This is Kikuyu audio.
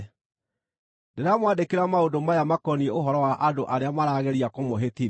Ndĩramwandĩkĩra maũndũ maya makoniĩ ũhoro wa andũ arĩa marageria kũmũhĩtithia.